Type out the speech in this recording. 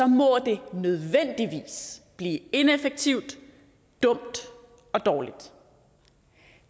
må det nødvendigvis blive ineffektivt dumt og dårligt